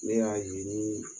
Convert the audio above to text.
Ne y'a ye ni